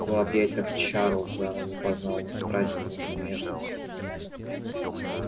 в объятиях чарлза она не познала ни страсти ни нежности